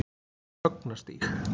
Högnastíg